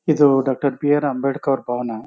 ಇದು doctor B R Ambedkar ಭವನ.